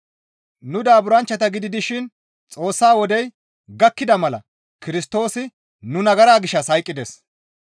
Nu daaburanchchata gidi dishin Xoossa wodey gakkida mala Kirstoosi nu nagara gishshas hayqqides.